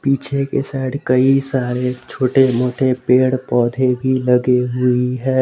पीछे के साइड कई सारे छोटे मोटे पेड़ पौधे भी लगे हुई है।